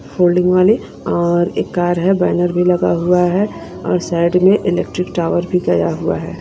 Folding वाली और एक कार है बैनर भी लगा हुआ है और साइड में इलेक्ट्रिक टावर भी गया हुआ हैं।